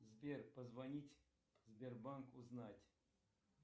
сбер позвонить в сбербанк узнать